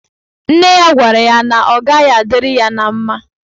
Nne ya gwara ya na ọ gaghị adịrị ya na mma.